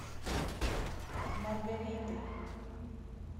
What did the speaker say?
маргариты